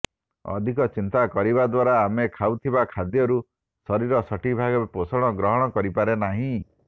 ଅଧିକ ଚିନ୍ତା କରିବା ଦ୍ୱାରା ଆମେ ଖାଉଥିବା ଖାଦ୍ୟରୁ ଶରୀର ସଠିକ ଭାବେ ପୋଷଣ ଗ୍ରହଣ କରିପାରେ ନାହିଁ